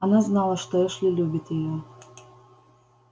она знала что эшли любит её